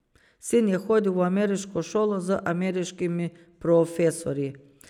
Sin je hodil v ameriško šolo, z ameriškimi profesorji.